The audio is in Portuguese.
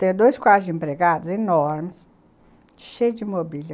Tem dois quartos de empregados enormes, cheio de mobília.